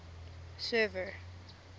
server